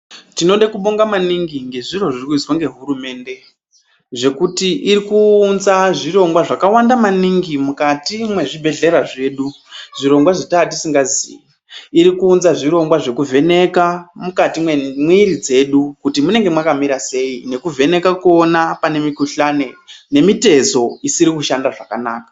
Tinode kubonga maningi ngezviro zviri kuitwe ngehurumende, zvekuti iri kuunza zvirongwa zvakawanda maningi mukati mwezvibhedhlera zvedu, zvirongwa zvetaa tisingazii. Zvirongwa zvekuvheneka mukati memwiri dzedu kuti munenge mwakamira sei, nekuvheneka kuona pane mikuhlani nemitezo isiri kushanda zvakanaka.